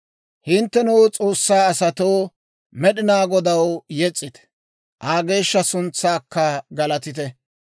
Hinttenoo S'oossaa asatoo, Med'inaa Godaw yes's'ite; Aa geeshsha suntsaakka galatite.